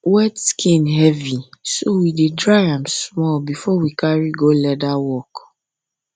wet skin heavy so we dey dry am small before we carry go leather work